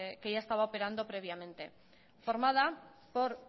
que ya estaba operando previamente formada por